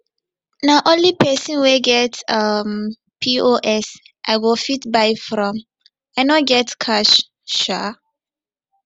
na only pesin wey get um pos i go fit buy from i no get cash um